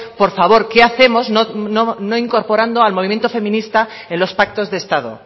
por favor qué hacemos no incorporando al movimiento feminista en los pactos de estado